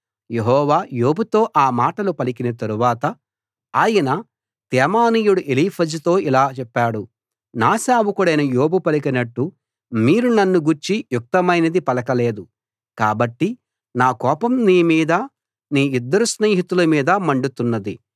యెహోవా యోబుతో ఆ మాటలు పలికిన తరువాత ఆయన తేమానీయుడు ఎలీఫజుతో ఇలా చెప్పాడు నా సేవకుడైన యోబు పలికినట్టు మీరు నన్ను గూర్చి యుక్తమైనది పలకలేదు కాబట్టి నా కోపం నీ మీదా నీ ఇద్దరు స్నేహితుల మీదా మండుతున్నది